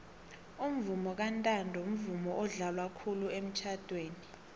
umvomo kantanto mvumo odlalwa khulu emitjhadweni